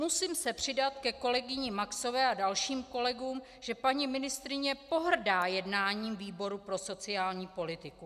Musím se přidat ke kolegyni Maxové a dalším kolegům, že paní ministryně pohrdá jednáním výboru pro sociální politiku.